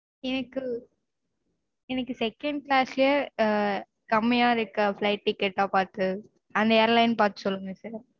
எனக்கு எனக்கு second class ஆஹ் கம்மியா இருக்க flight ticket ஆ பாத்து அந்த airline பாத்து சொல்லுங்க sir